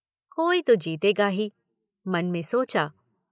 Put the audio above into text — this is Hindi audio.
"कोई तो जीतेगा ही|" मन में सोचा।